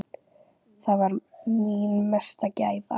Það var mín mesta gæfa.